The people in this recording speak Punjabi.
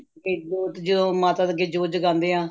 ਤੇ ਜੋਤ ਚ ਮਾਤਾ ਦੇ ਅੱਗੇ ਜੋਤ ਜਗਾਦੇ ਹਾਂ